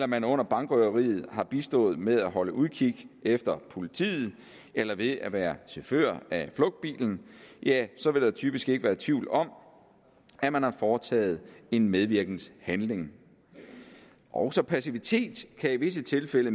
man under bankrøveriet har bistået med at holde udkig efter politiet eller ved at være chauffør af flugtbilen så vil der typisk ikke være tvivl om at man har foretaget en medvirkenhandling også passivitet kan i visse tilfælde